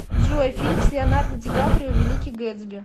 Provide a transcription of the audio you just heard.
джой фильм с леонардо ди каприо великий гэтсби